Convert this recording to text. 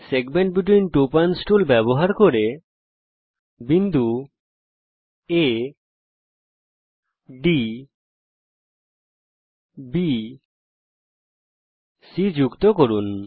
segment between two points tool ব্যবহার করে বিন্দু A ডি B C যুক্ত করুন